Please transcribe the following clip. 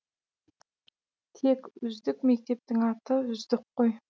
тек үздік мектептің аты үздік қой